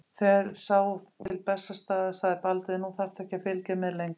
Þegar sá til Bessastaða sagði Baldvin:-Nú þarftu ekki að fylgja mér lengra.